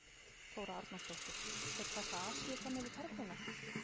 Þóra Arnórsdóttir: Þeir taka Asíu fram yfir Perluna?